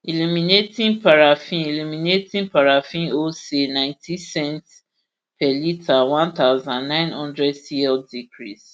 illuminating paraffin illuminating paraffin wholesale nineteen cents per litre one thousand, nine hundred cl decrease